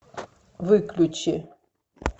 выключи